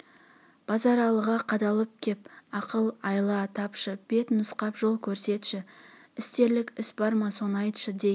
базаралыға қадалып кеп ақыл-айла тапшы бет нұсқап жол көрсетші істерлік іс бар ма соны айтшы дей